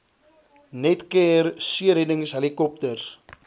netcare seereddings helikopters